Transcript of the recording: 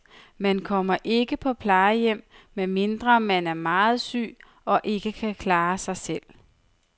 Man kommer ikke på plejehjem, medmindre man er meget syg og ikke kan klare sig selv.